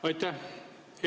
Aitäh!